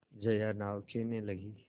जया नाव खेने लगी